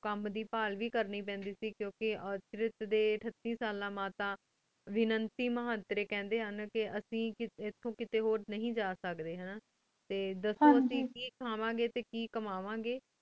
ਕਾਮ ਦੇ ਧ੍ਖ ਬਹਲ ਵੇ ਕਰ ਨੀ ਪੈਂਦੀ ਸੇ ਕੁੰ ਕੀ ਅਸ੍ਤ੍ਰਿਕ ਡੀ ਅਠਾਤੀ ਸਾਲਾਂ ਬਾਦ ਤਾਂ ਵੇਨਾਨ੍ਸੀ ਮਹਾਟਰ ਕਹੰਡੀ ਹਨ ਅਸੀਂ ਏਥੁ ਕਿਤਹੀ ਹੋਰ ਨੀ ਜਾ ਸਕਦੀ ਦਸੂਣ ਅਸੀਂ ਕੀ ਖਾਵ੍ਯਨ ਗੀ ਟੀ ਕੀ ਕਮਾਉਣ ਗੀ